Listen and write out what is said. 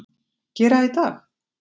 Gera í dag?